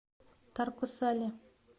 тарко сале